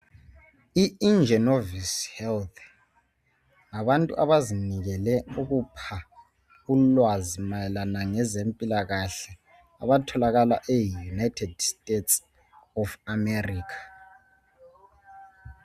I Ingenovis Health ngabantu abazimisele ukupha ulwazi mayelana ngezempilakahle abatholakala e United States of America.